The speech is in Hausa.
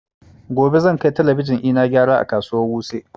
Gobe zan kai talabijin ina gyara a kasuwa wuse